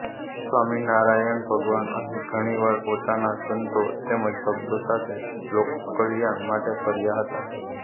સ્વામિનારાયણ ભગવાન અહીં ઘણી વાર પોતાના સંતો તેમ જ ભક્તો સાથે લોકકલ્યાણ માટે ફર્યા હતા